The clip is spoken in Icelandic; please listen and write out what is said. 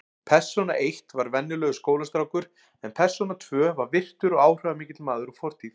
Persóna eitt var venjulegur skólastrákur en persóna tvö var virtur og áhrifamikill maður úr fortíð.